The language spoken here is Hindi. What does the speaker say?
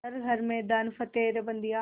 कर हर मैदान फ़तेह रे बंदेया